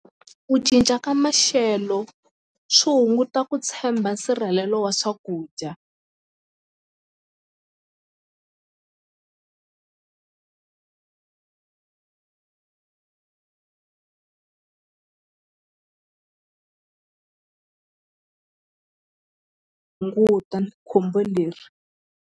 Ku cinca ka maxelo swi hunguta ku tshemba nsirhelelo wa swakudya hunguta ni khombo leri.